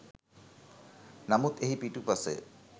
නමුත් එහි පිටුපස